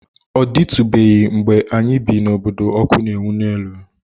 Ọ dịtụbeghị mgbe anyị bi n’obodo ọkụ na-enwu n'elu.